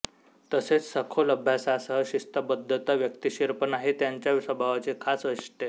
तसेच सखोल अभ्यासासह शिस्तबद्धता वक्तशीरपणा हे त्यांच्या स्वभावाची खास वैशिष्ट्ये